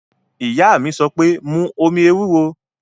Ìyá mi sọ pé, mu omi ewúro!